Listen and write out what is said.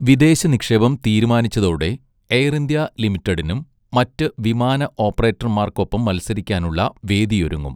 വിദേശ നിക്ഷേപം തീരുമാനിച്ചതോടെ എയർ ഇന്ത്യ ലിമിറ്റഡിനും മറ്റ് വിമാന ഓപ്പറേറ്റർമാർക്കൊപ്പം മത്സരിക്കാനുള്ള വേദിയൊരുങ്ങും.